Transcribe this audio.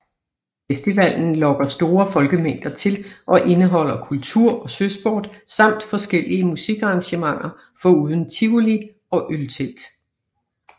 Festivalen lokker store folkemængder til og indeholder kultur og søsport samt forskellige musikarrangementer foruden tivoli og øltelt